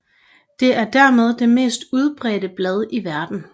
Det er dermed det mest udbredte blad i verden